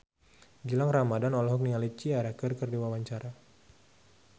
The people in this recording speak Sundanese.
Gilang Ramadan olohok ningali Ciara keur diwawancara